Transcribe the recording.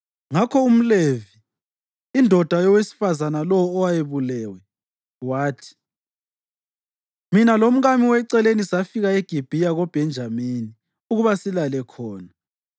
Ngakho umLevi, indoda yowesifazane lowo owayebulewe, wathi, “Mina lomkami weceleni safika eGibhiya koBhenjamini ukuba silale khona.